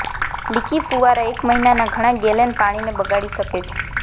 લીકી ફુવારા એક મહિનાના ઘણા ગેલન પાણીને બગાડી શકે છે